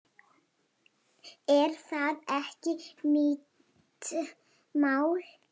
Er það ekki mitt mál?